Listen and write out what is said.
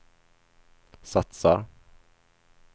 satsar